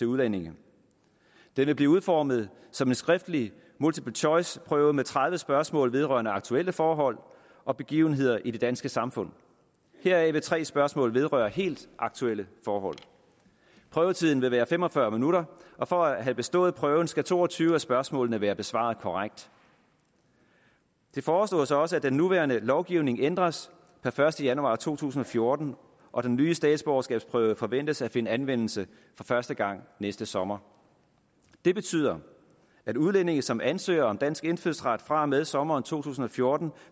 udlændinge den vil blive udformet som en skriftlig multiple choice prøve med tredive spørgsmål vedrørende aktuelle forhold og begivenheder i det danske samfund heraf vil tre spørgsmål vedrøre helt aktuelle forhold prøvetiden vil være fem og fyrre minutter og for at have bestået prøven skal to og tyve af spørgsmålene være besvaret korrekt det foreslås også at den nuværende lovgivning ændres per første januar to tusind og fjorten og den nye statsborgerskabsprøve forventes at finde anvendelse for første gang næste sommer det betyder at udlændinge som ansøger om dansk indfødsret fra og med sommeren to tusind og fjorten